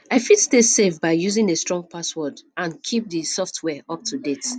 i fit stay safe by using a strong passwords and keep di software up to date